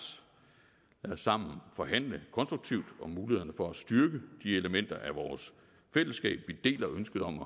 lad os sammen forhandle konstruktivt om mulighederne for at styrke de elementer af vores fællesskab som vi deler ønsket om at